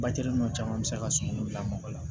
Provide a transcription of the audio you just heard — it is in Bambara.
Batiri nɔ caman bɛ se ka sunguru bila mɔgɔ la